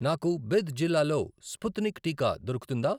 నాకు బిద్ జిల్లాలో స్పుత్నిక్ టీకా దొరుకుతుందా?